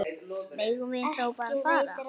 Megum við þá bara fara?